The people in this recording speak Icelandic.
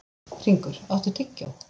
Hringur, áttu tyggjó?